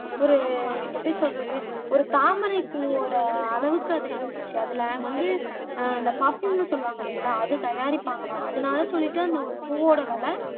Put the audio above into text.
ஒரு எப்படி சொல்றது ஒரு தாமரைப் பூவோட அளவுக்கு அது இருந்துச்சு அதுல வந்து அஹ் இந்த பர்வ்யூம்ன்னு சொல்லுவாங்க இல்லைங்களா அது தயாரிப்பாங்களாம் அதனால சொல்லிட்டேன் அந்த ஒரு பூவோட விலை